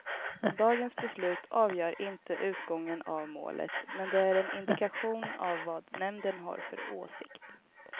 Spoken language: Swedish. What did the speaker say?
Dagens beslut avgör inte utgången av målet, men det är en indikation av vad nämnden har för åsikt.